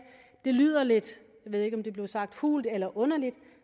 det lyder lidt jeg ved ikke om der blev sagt hult eller underligt